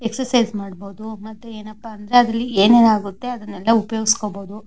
Exercise ಮಾಡಬೋದು ಮತ್ತೆ ಏನಪ್ಪಾ ಅಂದ್ರೆ ಏನೇನ್ ಆಗುತ್ತೆ ಅದೆಲ್ಲ ಉಪಯೋಗಿಸ್ಕೊಬೋದು.